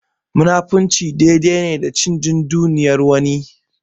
Munafurci dai dai ne da cin dunduniyar wani.